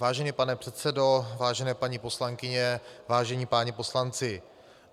Vážený pane předsedo, vážené paní poslankyně, vážení páni poslanci.